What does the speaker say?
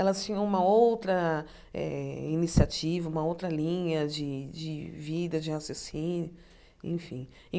Elas tinham uma outra eh iniciativa, uma outra linha de de vida de raciocínio enfim.